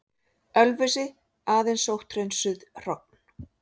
Ölfusi, aðeins sótthreinsuð hrogn.